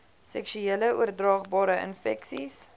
seksuele oordraagbare infeksies